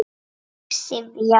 Mig syfjar.